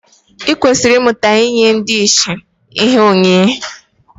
I kwesịrị ịmụta inye ndị ìsì ihe onyinye